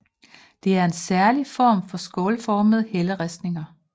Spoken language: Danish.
Det er en særlig form for skålformede helleristninger